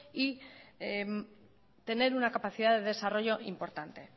y tener una capacidad de desarrollo importante